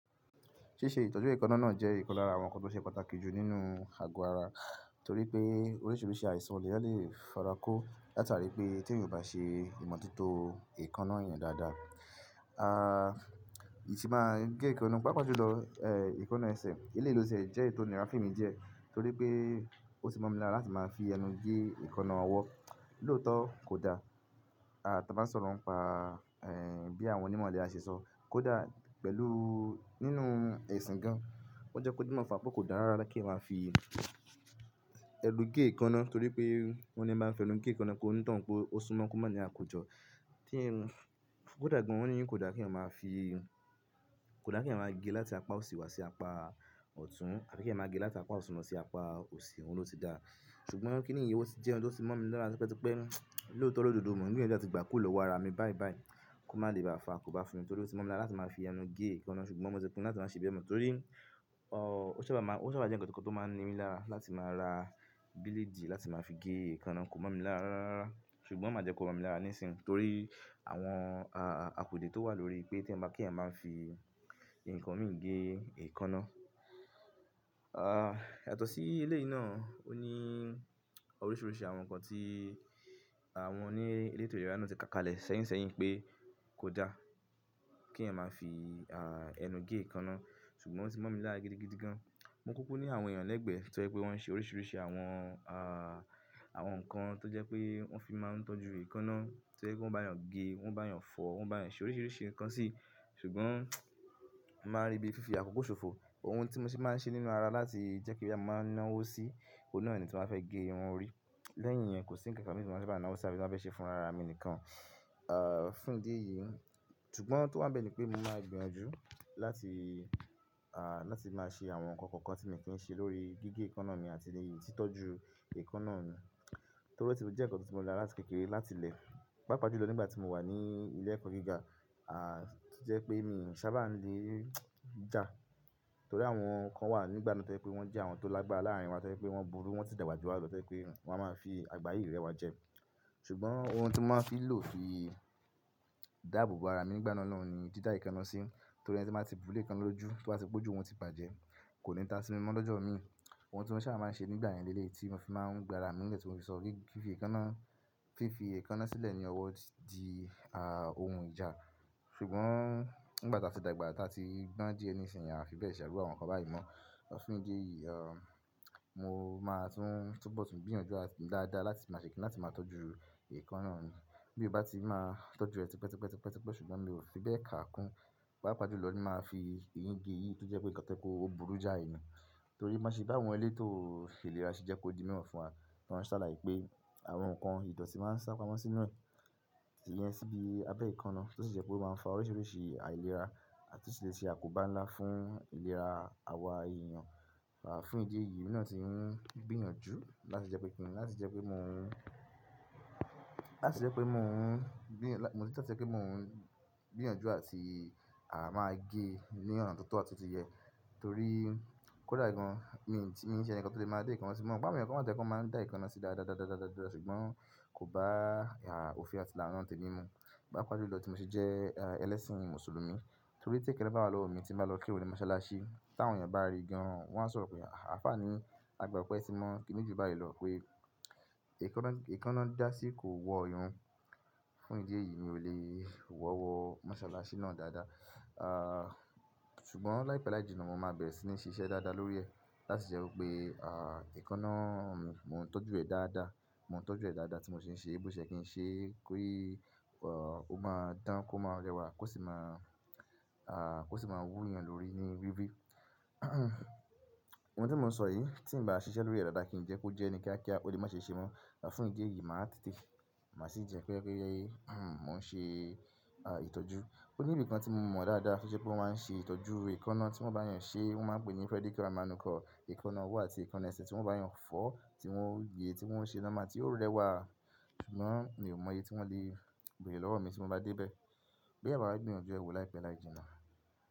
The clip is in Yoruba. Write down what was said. Ṣíṣe ìtọ́jú èékánná náà jẹ́ ìkan lára àwọn nǹkan tó ṣe pàtàkì jù nínú àgọ́ ara torí pé oríṣiríṣi àìsàn le èèyán lé farako látàrí pé tí èèyàn ò bá ṣe ìmọ̀tótó èékánná èèyàn dáadáa, ìṣì máa gé èékánná. Pápá ju lọ, èékánná ẹsẹ̀, eléyìí lò tí ẹ jẹ́ èyí tò nírà fun emi díẹ̀ torí pé ó tì mọ́ mi lára láti máa fi ẹnu gé èékánná ọwọ́. Lóòótọ́ kò da, ta bá ń sọ̀rọ̀ ń pa, bí àwọn onímọ̀ ilẹ̀rà ṣẹ sọ, kò da pẹ̀lú nínú ẹ̀sìn gan. Wọ́n jẹ́ kó dí mi mọ̀ fún wà pé kò da rárá kí èèyán máa fi ẹnu gé èékánná torí pé wọ́n ní ení màá ń fi ẹnu gé èékánná ko ó ní tànhun pé ó súnmọ́ kó máa ní àkójọ. Kò da gan wọ́n ní kó dà kí èèyán máa fi, kò da kí èèyán máa gé láti apá òsì wá sí apá ọ̀tún àbi kí èèyán máa gé láti apá òtùn lọ sí apá òsì, òun ló ti da. Ṣùgbọ́n kíni yìí ó ti jẹ́ ohun tó sì mọ́ mi lára lọ́pẹ́ tí pé lóòótọ́ lododo mọ́ ń gbìn yanjú láti gbà kúrò lọwọ ara mi báìbáì, kó má le bá a fàá akó bá fún mi torí ó tì mọ́ mi lára láti máa fi ẹnu gé èékánná ṣùgbọ́n mo ti pinnu láti máa ṣe bẹ́ẹ̀ mọ́ torí o ṣábà máa, o ṣábà jẹ́ ǹkan tó máa ń ni mí lára láti máa ra bílédì láti máa fi gé èékánná kò mọ̀ mi lára rárá. Ṣùgbọ́n màá jẹ́ kó rọ mí lára ní ìsìn torí àwọn àpedé tó wà lórí pé ki èèyàn máa fí ǹkan mì gé èékánná. Yàtọ̀ sí eleyìí náà, ó ní oríṣiríṣi àwọn nǹkan tí àwọn oní elétò ìlera náà ti ka kalẹ̀ sẹ́yìn sẹ́yìn pé kò da kí èèyàn máa fi ẹnu gé èékánná ṣùgbọ́n ó sì mọ̀ mi lára gidigidi gan. Mo kúkú ní àwọn èèyàn lẹ́gbẹ̀ẹ́ tó yẹ pé wọ́n n ṣe oríṣiríṣi àwọn àwọn nǹkan tó jẹ́ pé wọ́n fi máa ń tọ́jú èékánná, tó jẹ́ pé wọ́n bá èèyàn gé, wọ́n bá èèyàn fọ̀, wọ́n bá èèyàn ṣe oríṣiríṣi nǹkan sí. Ṣùgbọ́n mò màá ń rí bí fífi àkókò ṣòfò, ohun tí mo sì máa ń ṣe nínú ara láti jẹ́ pé bọya mò máa ń náwó sí, òun náà ni tí m bá fẹ́ gé irun orí. Lẹ́yìn yẹn kò sí ǹkan kan mi tí mo sá bá ń nàwó sí á fí tí m bá fẹ́ ṣe fún ara mi nìkan. Ah fún ìdí èyí, ṣùgbọ́n tó bá bẹ́ẹ̀ ni pé mo máa gbìyànjú láti ah láti máa ṣe àwọn nǹkan kọ̀ọ̀kan tí mo kì í ṣe lórí gígé èékánná mi àti ìtọ́jú èékánná mi torí tí ó jẹ́ nǹkan tí mo rí láti kékeré láti ilẹ̀. Pápá ọjọ́ lọ nígbà tí mo wà ní ilé ẹ̀kọ́ gíga, ah jẹ́ pé mi ò sábà lè jà torí àwọn nǹkan wà nígbà náà tó rẹ pé wọ́n jẹ́ àwọn tó lágbára láàárín wa tó rẹ pé wọ́n burú wọ́n sì dàgbà jù wa lọ tó rẹ pé wọ́n máa ń fi àgbáyé rẹ wa jẹ. Ṣùgbọ́n ohun tí wọ́n máa ń fi lò fi dàbò bo ara mi nígbà náà náà ni dídá èékánná sí, torí ẹni tí máa ti burú lékánná lójú tó bá ti péjú òun ti bàjẹ́, kò ní ta sí mímọ́ lọ́jọ́ mi. Ohun tí wọ́n sábà máa ń ṣe nígbà ìyànilẹ́lé tí mo fi máa ń gbà ara mi lẹ́tí mo fi sọ fífi èékánná, fífi èékánná sílẹ̀ ní ọwọ́ di ah ohun ìjà. Ṣùgbọ́n nígbà tí a ti dàgbà, tí a ti gbọ́n díẹ̀ ní ìsìn, a fi bẹ̀rẹ̀ ṣàrò àwọn nǹkan báyìí mọ́. Ọ̀ fún ìdí èyí, ah mo máa tún túbọ̀ tún gbìyànjú láti dáadáa láti máa ṣèké láti máa tọ́jú èékánná mi. Bí mo bá ti máa tọ́jú rẹ̀ pẹpẹ́ pẹpẹ́ pẹpẹ́ pẹpẹ́ ṣùgbọ́n mi ò fi bẹ́ẹ̀ kà á kún. Pápá ju lọ ni màá fi èyín gé èyí tó jẹ́ pé nǹkan tẹ́kò ó burú já ènìyàn. Torí má sì bá àwọn eléto fèrè lára ṣe jẹ́ kó di ìmọ̀ fún wa, wọ́n ṣàlàyé pé àwọn nǹkan ìdọ̀tí máa ń sá pamọ́ sínú ẹ̀yẹ síbi abẹ́ èékánná tí ó sì jẹ́ pé ó máa ń fa oríṣiríṣi àìlera àti ó sì lè ṣe àkóbá ńlá fún ìlera àwọn èèyàn. À fún ìdí èyí, mo náà ti ń gbìyànjú láti jẹ́ pé kí ni láti jẹ́ pé mo ń, láti jẹ́ pé mo ń gbìyàn, mo ti dáa láti jẹ́ pé mo ń gbìyànjú àti à máa gé ní ọ̀nà tó tọ́ àti tó yẹ torí kò da gan. Mi ò ní ṣe ẹ̀nìkan tó lè máa dé èékánná sí mọ́, mo gbọ́ àwọn èèyàn kan wá tó rẹ pé wọ́n máa ń dá èékánná sí dáadáadáadáadáadáà ṣùgbọ́n kò bá ìhà òfin àti ìlànà tẹ́lẹ̀ mi mu. Pápá ju lọ tí mo sì jẹ́ ẹlẹ́sìn Mùsùlùmí torí tí kẹ́kẹ̀ẹ̀ta bá wá lọ omi tí màá lọ kéwì ni mọ́sálásí. Tí àwọn èèyàn bá rí i gan wọ́n á sọ̀rọ̀ pé "àfààní, a gbà pé ẹ ti mọ̀ kíni ju báyìí lọ pé èékánná, èékánná dá sí kò wọ èèyàn". Fún ìdí èyí mi ò lè wọ̀wọ́ mọ́sálásí náà dáadáa. Ah ṣùgbọ́n láìpẹ́ láìjìnà mo máa bẹ̀rẹ̀ sí ní ṣiṣẹ́ dáadáa lórí ẹ̀ láti jẹ́ kó pé ah èékánná mi, mò ń tọ́jú ẹ̀ dáadáa, mò ń tọ́jú ẹ̀ dáadáa tí mo sì ń ṣe èébó ṣẹ́ kí n ṣe kí òun máa dán kó máa rẹwà kó sì máa ah kó sì máa wú èèyàn lórí ní wíwí. Ohun tí mò ń sọ yìí tí ń bá ṣiṣẹ́ lórí ẹ̀ dáadáa kì í jẹ́ kó jẹ́ ẹni kíákíá, ó lè má ṣe ṣe mọ́. Ọ̀ fún ìdí èyí màá tètè, màá sì jẹ́ pé kí ó yẹ́ mò ń ṣe ah ìtọ́jú. Ó ní ibìkan tí mo mọ̀ dáadáa tí ṣe pé wọ́n máa ń ṣe ìtọ́jú èékánná tí wọ́n bá yàn ṣe wọ́n máa pèéyìn Frederick àwọn ẹnìkan èékánná ọwọ́ àti èékánná ẹsẹ̀ tí wọ́n bá yàn fọ̀ tí wọ́n yè tí wọ́n ṣe lọ́mà tí ó rẹwà. Ṣùgbọ́n mi ò mọ̀ iye tí wọ́n lè bèèrè lọ́wọ́ mi tí mo bá dé bẹ́ẹ̀. Bí ẹ̀yà bá gbìyànjú ẹ̀wo láìpẹ́ láìjìnà.